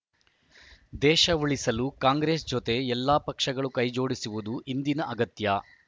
ದೇಶ ಉಳಿಸಲು ಕಾಂಗ್ರೆಸ್‌ ಜೊತೆ ಎಲ್ಲಾ ಪಕ್ಷಗಳು ಕೈಜೋಡಿಸುವುದು ಇಂದಿನ ಅಗತ್ಯ